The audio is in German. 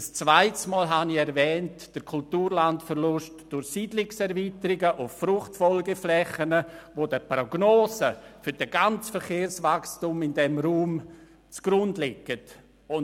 Ein zweites Mal erwähnte ich den Kulturlandverlust im Zusammenhang mit Siedlungserweiterungen auf Fruchtfolgeflächen, die den Prognosen für das gesamte Verkehrswachstum in diesem Raum zugrunde liegen.